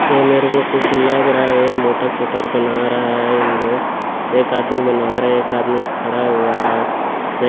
ऐ मेरे को कुछ लग रहा हे मोटर सोर्टर बना रहा हे इन लोग एक आदमी बना रा हे एक आदमी खड़ा हुआ हे--